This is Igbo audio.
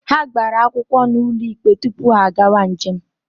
Ha gbara akwụkwọ n'ụlọ ikpe tupu ha agawa njem.